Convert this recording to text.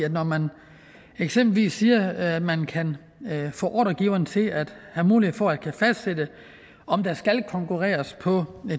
at når man eksempelvis siger at man kan få ordregiveren til at have mulighed for at fastsætte om der skal konkurreres på